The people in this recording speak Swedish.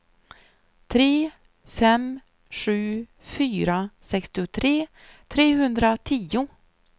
tre fem sju fyra sextiotre trehundratio